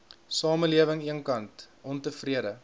samelewing eenkant ontevrede